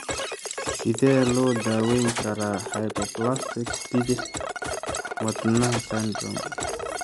Sidee loo daweyn karaa hypoplastic bidix wadnaha syndrome (HLHS)?